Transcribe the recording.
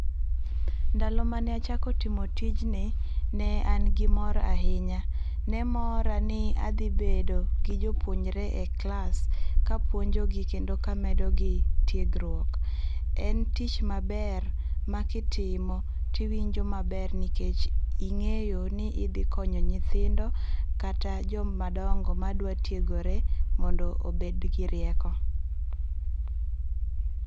Ndalo mane achako timo tijni ne an gi mor ahinya, ne mora ni adhi bedo gi jopuonjre e klas kapuonjogi kendo kamedogi tiegruok, En tich maber ma kitimo to iwinjo maber nikech ingeyo ni idhi konyo nyithindo kata joma dongo madwa tiegrore mondo obed gi rieko